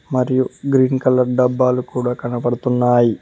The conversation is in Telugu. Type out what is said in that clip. మరియు గ్రీన్ కలర్ డబ్బాలు కూడా కనబడుతున్నాయి.